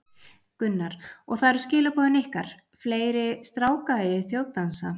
Gunnar: Og það eru skilaboðin ykkar, fleiri stráka í þjóðdansa?